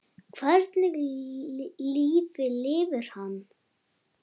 Hvernig lífi lifir hann?